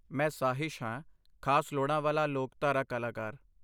ਮੈਂ ਸਾਹਿਸ਼ ਹਾਂ, ਖਾਸ ਲੋੜਾਂ ਵਾਲਾ ਲੋਕਧਾਰਾ ਕਲਾਕਾਰ।